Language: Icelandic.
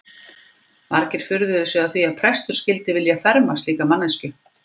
Margir furðuðu sig á því að prestur skyldi vilja ferma slíka manneskju.